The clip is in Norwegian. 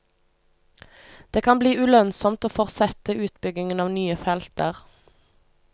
Det kan bli ulønnsomt å fortsette utbyggingen av nye felter.